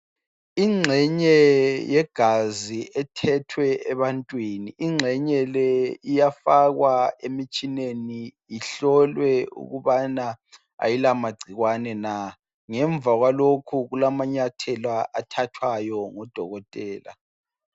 Ingxenye yegazi ethethwe ebantwini. Ingxenye le iyafakwa emtshineni wegazi, ihlolwa ukuba kayilamagcikwane na? Ngemva kwalokho, kulamanyathela athathwayo ngudokotela.